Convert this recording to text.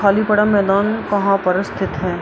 खली पड़ा मैदान कहाँ पर स्थित है।